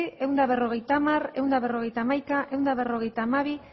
ehun eta berrogeita hamar ehun eta berrogeita hamaika ehun eta berrogeita hamabi